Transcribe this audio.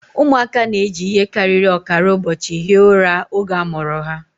Ụmụaka na-eji ihe karịrị ọkara ụbọchị hie ụra oge a mụrụ ha